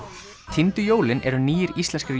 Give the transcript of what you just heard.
týndu jólin eru nýir íslenskir